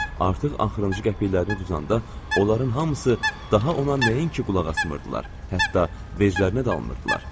Nənə artıq axırıncı qəpirlərini udanda, onların hamısı daha ona nəinki qulaq asmırdılar, hətta veclərinə dalmırdılar.